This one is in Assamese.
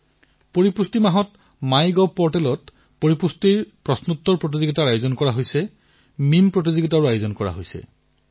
যিদৰে শ্ৰেণী কোঠাত এজন মণিটৰ থাকে ঠিক সেইদৰে পুষ্টি মণিটৰো হওক প্ৰতিবেদন কাৰ্ডৰ দৰে পুষ্টি কাৰ্ডো হওক এই ধৰণৰ কাম আৰম্ভ কৰা হৈছে